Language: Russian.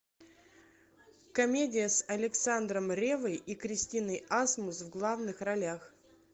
комедия с александром реввой и кристиной асмус в главных ролях